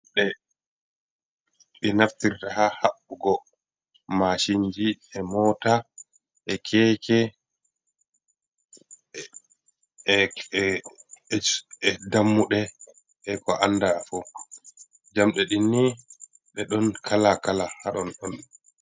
Njamɗe e ɓe naftirta ha haɓɓugo mashinji e mota e keke e dammude e ko anda fo, jambe dinni ɗe ɗon kala kala haton on'